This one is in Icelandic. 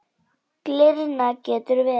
Glyrna getur verið